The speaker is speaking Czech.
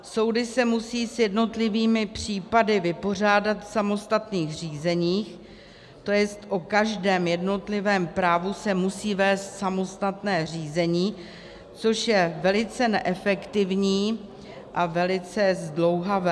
Soudy se musí s jednotlivými případy vypořádat v samostatných řízeních, to jest o každém jednotlivém právu se musí vést samostatné řízení, což je velice neefektivní a velice zdlouhavé.